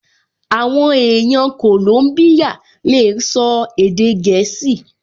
Àwọn èèyàn kòlóbíyà lè sọ èdè gẹ̀ẹ́sì